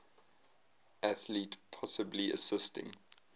athlete possibly assisting